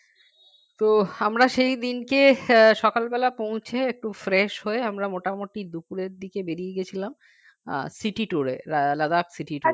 তো আমরা সেই দিনকে আহ সকালবেলা পৌঁছে একটু fresh হয়ে আমরা মোটামুটি দুপুরের দিকে বেরিয়ে গিয়েছিলাম আহ city tour এ Ladakcity tour এ